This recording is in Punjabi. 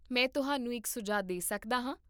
ਮੈਂ ਤੁਹਾਨੂੰ ਇੱਕ ਸੁਝਾਅ ਦੇ ਸਕਦਾ ਹਾਂ